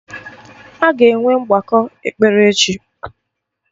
Aga enwe mgbakọ ekpere echi